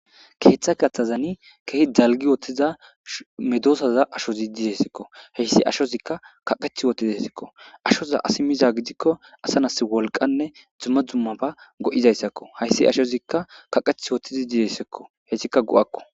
Ketha gathazani keeh dakgi utiza medosaza ashozi desko, ashozika kaqetid utidesko, ashoza asiy mikon asa nas wolqanne dumma dummaba go'izaysako. Haysi ashozika kaqeti utidi desko, hesika go'ako.